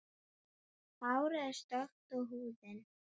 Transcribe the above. Hárið er stökkt og húðin.